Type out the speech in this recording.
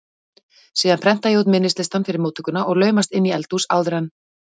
Síðan prenta ég út minnislistann fyrir móttökuna og laumast inn í eldhús áður en